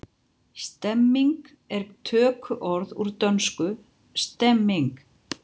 Stemning er tökuorð úr dönsku stemning.